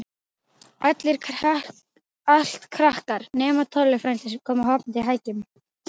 Allt krakkar, nema Tolli frændi, sem kom hoppandi á hækjunum.